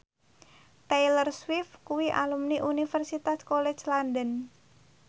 Taylor Swift kuwi alumni Universitas College London